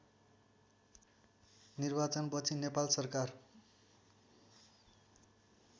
निर्वाचनपछि नेपाल सरकार